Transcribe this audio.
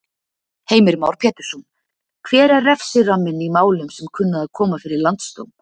Heimir Már Pétursson: Hver er refsiramminn í málum sem kunna að koma fyrir Landsdóm?